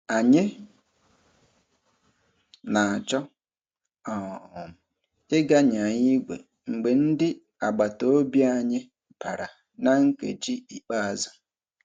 Anyị na-achọ um ịga nyaa igwe mgbe ndị agbataobi anyị bara na nkeji ikpeazụ.